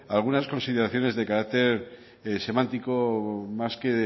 algunas consideraciones de carácter semántico más que